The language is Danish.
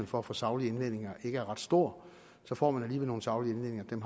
for at få saglige indvendinger ikke er ret stor så får man alligevel nogle saglige indvendinger som